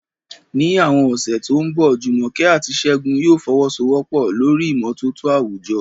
Ní àwọn ọ̀sẹ̀ tó ń bọ̀, Jumoke àti Segun yóò fọwọ́sowọ́pọ̀ lórí ìmọ́tótó àwùjọ